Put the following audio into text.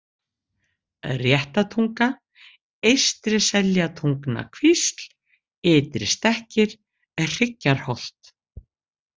Réttatunga, Eystri-Seljatungnakvísl, Ytristekkir, Hryggjarholt